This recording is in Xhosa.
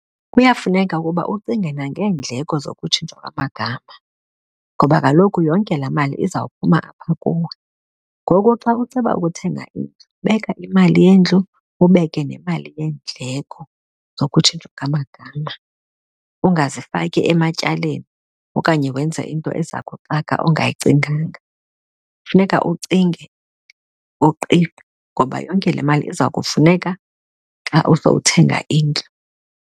Kuyafuneka ukuba ucinge nangeendleko zokutshintsha kwamagama ngoba kaloku yonke laa mali izawuphuma apha kuwe. Ngoku xa uceba ukuthenga indlu, beka imali yendlu ubeke nemali yeendleko zokutshintshwa kwamagama ungazifaki ematyaleni okanye wenze into eza kuxaka ongayicinganga. Kufuneka ucinge uqiqe ngoba yonke le mali iza kufuneka xa uzothenga indlu.